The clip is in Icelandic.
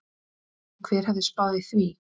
Hver hefði spáð því?